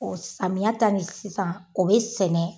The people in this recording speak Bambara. Ɔ samiya ta ni sisan o be sɛnɛ